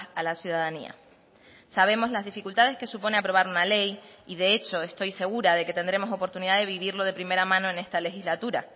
a la ciudadanía sabemos las dificultades que supone aprobar una ley y de hecho estoy segura de que tendremos oportunidad de vivirlo de primera mano en esta legislatura